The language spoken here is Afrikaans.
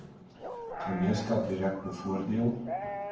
gemeenskap direk bevoordeel